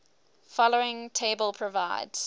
following table provides